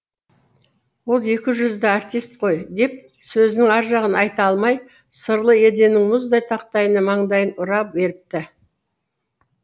ол екіжүзді артист қой деп сөзінің аржағын айта алмай сырлы еденнің мұздай тақтайына маңдайын ұра беріпті